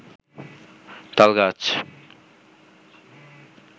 তালগাছ